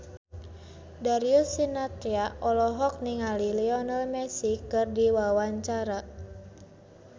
Darius Sinathrya olohok ningali Lionel Messi keur diwawancara